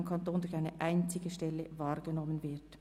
] beim Kanton durch eine einzige Stelle wahrgenommen wird»